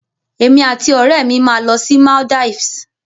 Èmi àti òrẹ́mi máa lọ sí Maldives